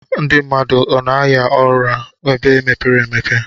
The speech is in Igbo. Ndi mmadụ ọna aya arụ ebe mepere emepe?